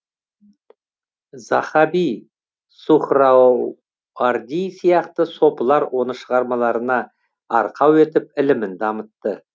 заһаби сухрауарди сияқты сопылар оны шығармаларына арқау етіп ілімін дамытты